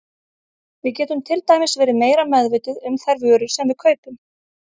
Við getum til dæmis verið meira meðvituð um þær vörur sem við kaupum.